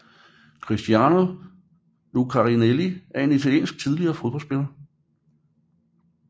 Cristiano Lucarelli er en italiensk tidligere fodboldspiller